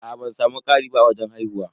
Aa ban samu ƙari ba a wajen haihuwa.